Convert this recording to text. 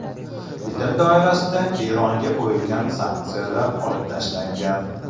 Bitim doirasida Eronga qo‘yilgan sanksiyalar olib tashlangan.